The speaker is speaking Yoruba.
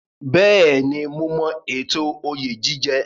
Bẹ́ẹ̀ni, mo mọ ètò oyè jíjẹ.